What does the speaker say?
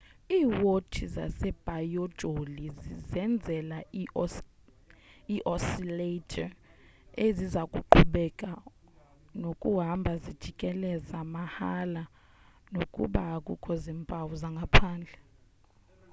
iiwotshi zebhayoloji zizenzela ii-oscillator eziza kuqhubeka nokuhamba zijikeleza mahala nokuba akukho zimpawu zangaphandle